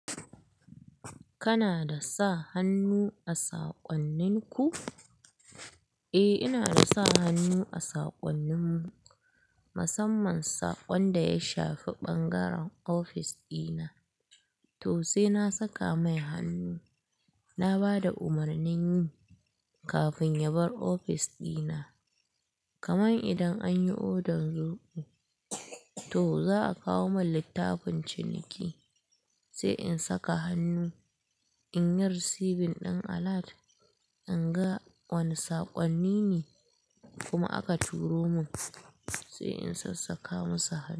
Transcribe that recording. Kana da sa hannu a saƙonninku? Eh, ina sa hannu a saƙonninmu. Musamman saƙon da ya shafi ɓangaren ofis ɗina. To sai na saka mai hannu, na ba da umarnin yi kafin ya bar ofis ɗina. Kaman idan an yi odan zobo, to za a kawo mun littafin ciniki sai in saka hannu in yi receiving ɗin alert, in ga wani saƙonni ne kuma aka turo mun sai in sassaƙa masa hannu.